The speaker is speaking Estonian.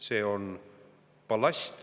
See on ballast.